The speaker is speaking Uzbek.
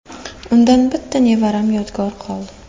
Undan bitta nevaram yodgor qoldi.